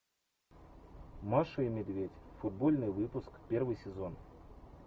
маша и медведь футбольный выпуск первый сезон